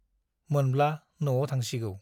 मोनब्ला न'आव थांसिगौ ।